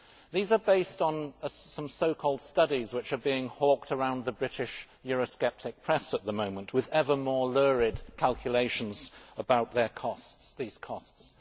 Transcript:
These are based on some so called studies which are being hawked around the British Euro sceptic press at the moment with ever more lurid calculations about these costs.